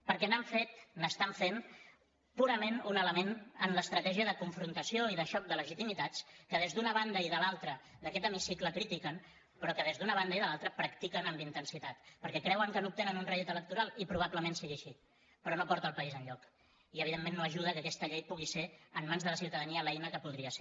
perquè n’han fet n’estan fent purament un element en l’estratègia de confrontació i de xoc de legitimitats que des d’una banda i de l’altra d’aquest hemicicle critiquen però que des d’una banda i de l’altra practiquen amb intensitat perquè creuen que n’obtenen un rèdit electoral i probablement sigui així però no porta el país enlloc i evidentment no ajuda que aquesta llei pugui ser en mans de la ciutadania l’eina que podria ser